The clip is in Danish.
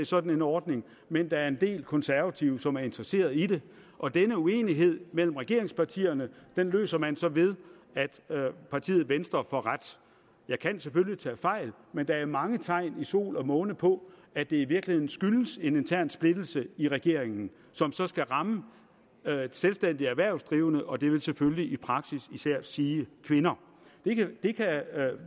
sådan en ordning men at der er en del konservative som er interesseret i det og denne uenighed mellem regeringspartierne løser man så ved at partiet venstre får ret jeg kan selvfølgelig tage fejl men der er mange tegn i sol og måne på at det i virkeligheden skyldes en intern splittelse i regeringen som så skal ramme selvstændige erhvervsdrivende og det vil selvfølgelig i praksis især sige kvinder